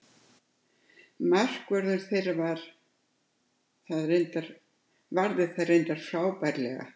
Markvörður þeirra ver það reyndar frábærlega.